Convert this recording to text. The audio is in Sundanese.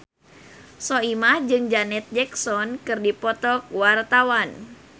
Soimah jeung Janet Jackson keur dipoto ku wartawan